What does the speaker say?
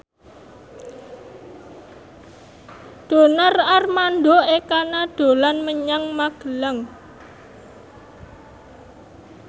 Donar Armando Ekana dolan menyang Magelang